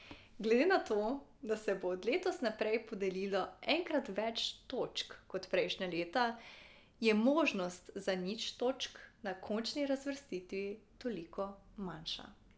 Glede na to, da se bo od letos naprej podelilo enkrat več točk kot prejšnja leta, je možnost za nič točk na končni razvrstitvi toliko manjša.